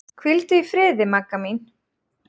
Hvíldu í friði, Magga mín.